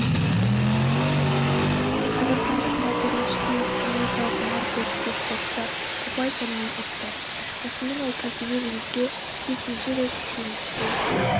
қазақстандық мадияр әшкеев америкалық маркус бекфордты ұпай санымен ұтты осымен ол кәсіби рингте жетінші рет жеңіске